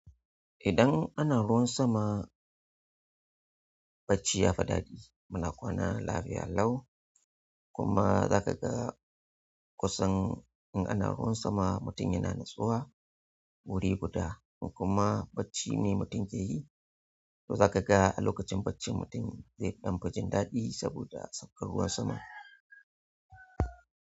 Idan ana ruwan sama, bacci yafi ɗaɗi. Muna kwana lafiya lau kuma za ka ga kusan in ana ruwan sama mutum yana natsuwa wuri guda. In kuma bacci ne mutum ke yi, to za ka ga a lokacin bacci mutum zai ɗan fa jin daɗi saboda saukar ruwan sama.